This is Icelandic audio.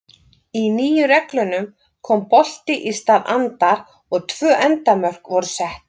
Í nýju reglunum kom bolti í stað andar og tvö endamörk voru sett.